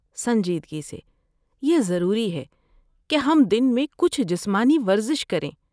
سنجیدگی سے، یہ ضروری ہے کہ ہم دن میں کچھ جسمانی ورزش کریں۔